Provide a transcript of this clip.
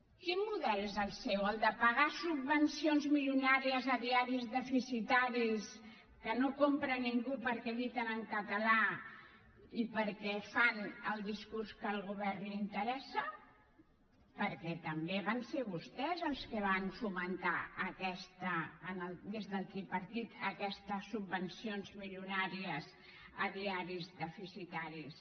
quin model és el seu el de pagar subvencions milionàries a diaris deficitaris que no compra ningú perquè editen en català i perquè fan el discurs que al govern li interessa perquè també van ser vostès els que van fomentar des del tripartit aquestes subvencions milionàries a diaris deficitaris